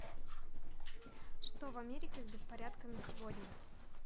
что в америке с беспорядками сегодня